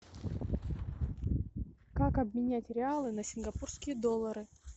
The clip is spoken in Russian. как обменять реалы на сингапурские доллары